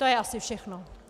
To je asi všechno.